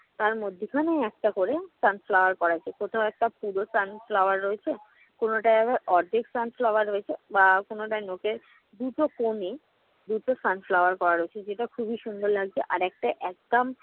তার মধ্যেখানে একটা করে sunflower করা আছে। কোথাও একটা পুরো sunflower রয়েছে, কোনোটায় আবার অর্ধেক sunflower রয়েছে বা কোনোটায় নখের দুটো কোণেই দুটো sunflower করা রয়েছে যেটা খুবই সুন্দর লাগছে।